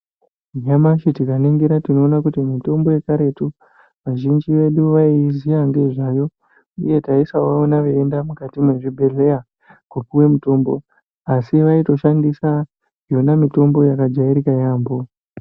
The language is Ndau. Nyamashi tikaningira tinoona kuti mitombo yekaretu vazhinji vedu vaiyiziya ngezvayo uye taisavaona veienda mukati mwezvibhehleya kopiwe mutombo asi vaitoshandisa yona mitombo yakajairika yambo.